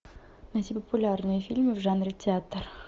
найти популярные фильмы в жанре театр